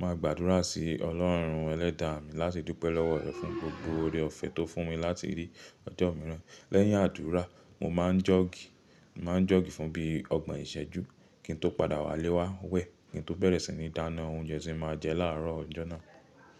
Máa gbàdúrà sí Ọlọ́run Ẹlẹ́dàá mi láti dúpẹ́ lọ́wọ́ rẹ̀ fún gbogbo oore-ọ̀fẹ́ tó fún mi láti rí ọjọ́ mìíràn. Lẹ́yìn àdúrà, mo máa ń jọ́ọ̀gì. Mo máa ń jọ́ọ̀gì fún bíi ọgbọ̀n ìṣẹ́jú kí n tó padà wá léwá wẹ̀ kí n tó bẹ̀rẹ̀ sí ní dáná oúnjẹ tí máa jẹ láàárọ̀ ọjọ́ náà.